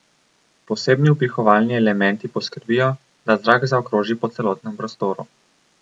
Posebni vpihovalni elementi poskrbijo, da zrak zaokroži po celotnem prostoru.